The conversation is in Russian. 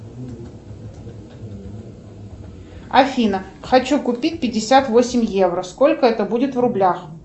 афина хочу купить пятьдесят восемь евро сколько это будет в рублях